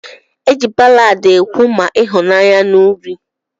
Eji ballad ekwu ma ihunanya na uri.